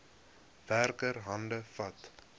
werker hande vat